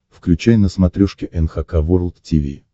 включай на смотрешке эн эйч кей волд ти ви